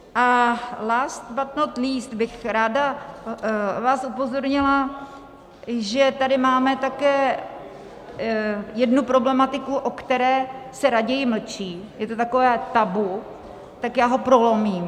A last but not least bych ráda vás upozornila, že tady máme také jednu problematiku, o které se raději mlčí, je to takové tabu, tak já ho prolomím.